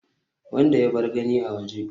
wanda ya bar gani a waje